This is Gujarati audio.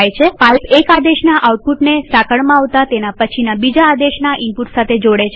પાઈપ એક આદેશના આઉટપુટને સાંકળમાં આવતા તેના પછીના બીજા આદેશના ઈનપુટ સાથે જોડે છે